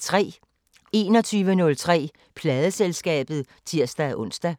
21:03: Pladeselskabet (tir-ons)